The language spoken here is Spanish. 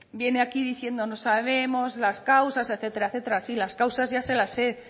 viene aquí diciendo no sabemos las causas etcétera etcétera sí las causas ya se las he